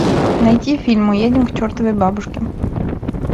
найти фильм мы едем к чертовой бабушке